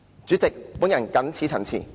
主席，我謹此陳辭。